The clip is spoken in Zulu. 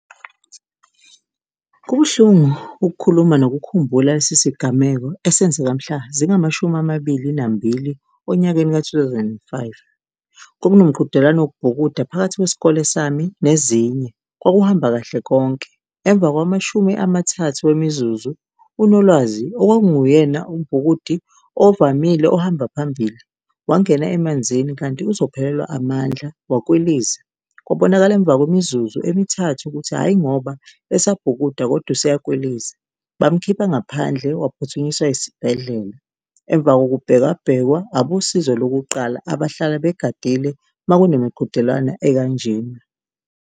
Kubuhlungu ukukhuluma nokukhumbula lesi sigameko esenzeka mhla zingamashumi amabili nambili onyakeni ka-two thousand and five. Kwakunomqhudelwano wokubhukuda phakathi kwesikole sami nezinye, kwakuhamba kahle konke. Emva kwamashumi amathathu wemizuzu, uNolwazi okwakunguyena umbhukudi ovamile ohamba phambili, wangena emanzini kanti uzophelelwa amandla wakwiliza. Kwabonakala emva kwemizuzu emithathu ukuthi hhayi ngoba esabhukuda kodwa esuyakwiliza, bamkhipha ngaphandle, waphuthunyiswa esibhedlela, emva kokubheka bhekwa, abosizo lokuqala abahlala begadile uma kunemiqhudelwano ekanjena.